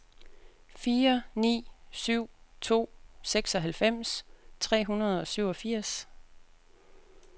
fire ni syv to seksoghalvfems tre hundrede og syvogfirs